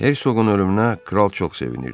Hersoqun ölümünə kral çox sevinirdi.